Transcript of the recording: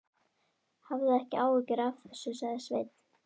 Hafðu ekki áhyggjur af þessu, sagði Sveinn.